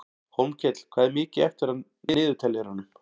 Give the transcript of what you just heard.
Hólmkell, hvað er mikið eftir af niðurteljaranum?